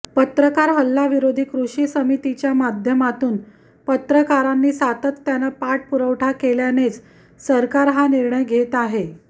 पत्रकार हल्ला विरोधी कृती समितीच्या माध्यमातून पत्रकारांनी सातत्यानं पाठपुरावा केल्यानेच सरकार हा निर्णय घेत आहे